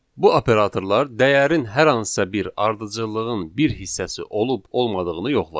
Bu operatorlar dəyərin hər hansısa bir ardıcıllığın bir hissəsi olub olmadığını yoxlayır.